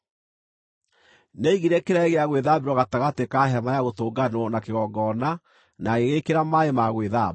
Nĩaigire kĩraĩ gĩa gwĩthambĩrwo gatagatĩ ka Hema-ya-Gũtũnganwo na kĩgongona na agĩgĩĩkĩra maaĩ ma gwĩthamba,